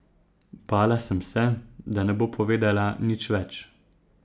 Bala sem se, da ne bo povedala nič več.